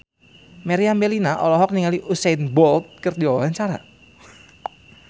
Meriam Bellina olohok ningali Usain Bolt keur diwawancara